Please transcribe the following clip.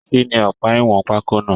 Kínní ọpa ìwọn pákó náà?